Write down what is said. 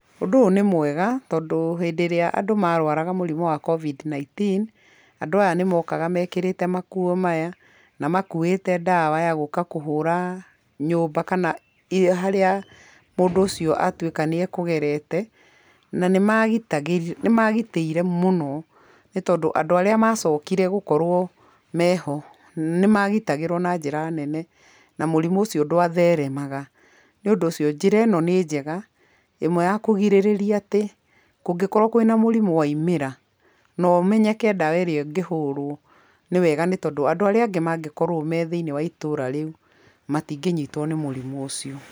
Ũndũ ũyũ nĩ mwega tondũ hĩndĩ ĩrĩa andũ marwaraga mũrimũ wa Covid-19, andũ aya nĩ mokaga mekĩrĩte makuo maya, na makuĩte ndawa ya gũka kũhũra nyũmba kana harĩa mũndũ ũcio atuĩka nĩ ekũgerete, na nĩmagitĩire mũno nĩ tondũ andũ arĩa macokire gũkorwo meho nĩ magitagĩrwo na njĩra nene na mũrimũ ũcio ndwatheremaga, nĩ ũndũ ũcio njĩra ĩno nĩ njega ĩmwe ya kũgirĩrĩria atĩ kũngĩkorwo kwĩna mũrimũ waumĩra na ũmenyeke ndawa ĩrĩa ĩngĩhũrwo, nĩwega nĩ tondũ andũ arĩa angĩ mangĩkorwo me thĩiniĩ wa itũũra rĩu matingĩnyitwo nĩ mũrimũ ũcio.